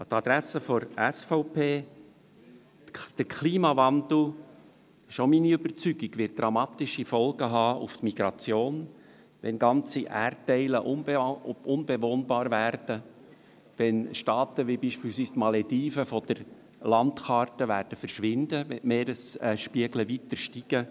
An die Adresse der SVP: Der Klimawandel wird dramatische Folgen für die Migration haben, wenn ganze Erdteile unbewohnbar werden und Staaten wie beispielsweise die Malediven von der Landkarte verschwinden, weil der Meeresspiegel weiter steigt.